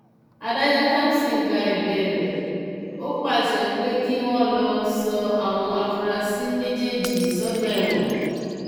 adájọ kamson gba ẹbẹ rẹ ó pàṣẹ pé kí wọn lọọ sọ àwọn afurasí méjèèjì sọgbà ẹwọn